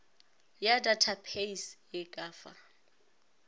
ya datapeise e ka fa